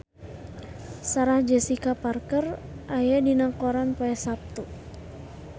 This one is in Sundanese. Sarah Jessica Parker aya dina koran poe Saptu